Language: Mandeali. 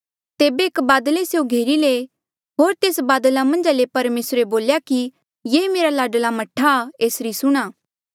तेबे एक बादले स्यों घेरी लये होर तेस बादला मन्झा ले परमेसरे बोल्या कि ये मेरा लाडला मह्ठा आ एसरी सुणां